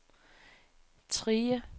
Trige